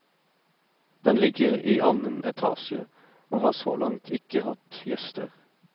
Den ligger i annen etasje, og har så langt ikke hatt gjester.